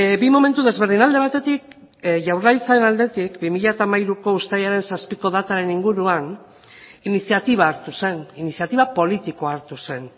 bi momentu desberdin alde batetik jaurlaritzaren aldetik bi mila hamairuko uztailaren zazpiko dataren inguruan iniziatiba hartu zen iniziatiba politikoa hartu zen